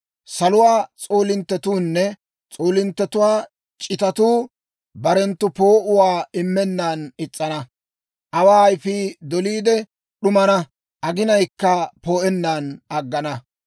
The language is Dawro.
Saluwaa s'oolinttetuunne s'oolinttetuwaa c'itatuu barenttu poo'uwaa immennan is's'ana; awa ayfii doliide d'umana; aginayikka poo'ennan aggana.